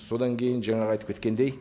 содан кейін жаңағы айтып кеткендей